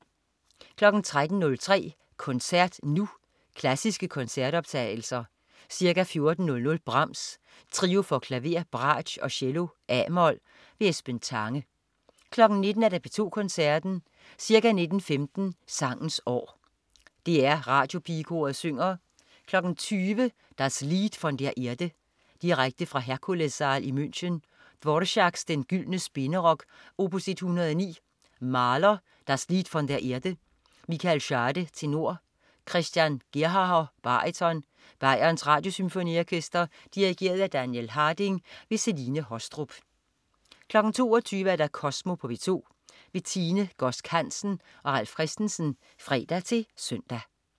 13.03 Koncert Nu. Klassiske koncertoptagelser. Ca. 14.00 Brahms: Trio for klaver, bratsch og cello, a-mol. Esben Tange 19.00 P2 Koncerten. Ca. 19.15 Sangens År. DR Radiopigekoret synger. 20.00 Das Lied von der Erde. Direkte fra Herkulessaal i München. Dvorák: Den gyldne spinderok. opus 109. Mahler: Das Lied von der Erde. Michael Schade, tenor. Christian Gerhaher, baryton. Bayerns Radiosymfoniorkester. Dirigent: Daniel Harding. Celine Haastrup 22.00 Kosmo på P2. Tine Godsk Hansen og Ralf Christensen (fre-søn)